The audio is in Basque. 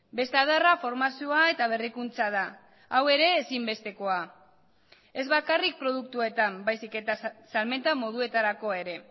beste adarra formazioa eta berrikuntza da hau ere ezinbestekoa ez bakarrik produktuetan baizik eta salmenta moduetarako ere